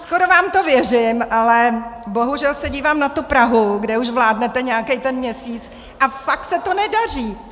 Skoro vám to věřím, ale bohužel se dívám na tu Prahu, kde už vládnete nějaký ten měsíc, a fakt se to nedaří.